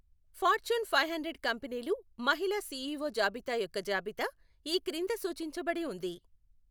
Fortune five hundred కంపెనీలు మహిళా CEO జాబితా యొక్క జాబితా ఈ క్రింద సూచించబడి ఉంది.